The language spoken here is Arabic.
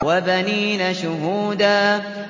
وَبَنِينَ شُهُودًا